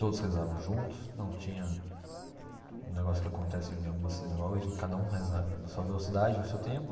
Todos rezavam juntos, não tinha um negócio que acontece em algumas sinagogas de cada um rezar na sua velocidade, no seu tempo.